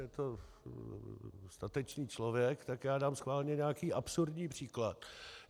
Je to statečný člověk, tak já dám schválně nějaký absurdní příklad.